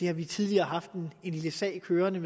har vi tidligere haft en lille sag kørende